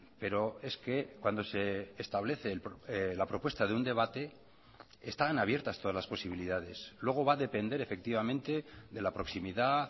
pero es que cuando se establece la propuesta de un debate están abiertas todas las posibilidades luego va a depender efectivamente de la proximidad